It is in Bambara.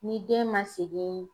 Ni den man segin